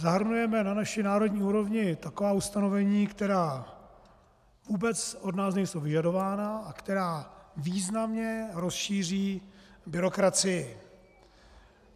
Zahrnujeme na naší národní úrovni taková ustanovení, která vůbec od nás nejsou vyžadována a která významně rozšíří byrokracii.